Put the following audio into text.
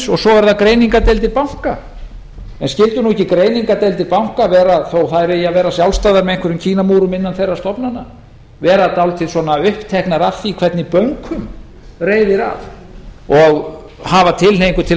og svo eru það greiningardeildir banka skyldu nú ekki greiningardeildir banka vera þó að þær eigi að vera sjálfstæðar með einhverjum kínamúrum innan þeirra stofnana vera dálítið svona uppteknar af því hvernig bönkum reiðir af og hafa tilhneigingu til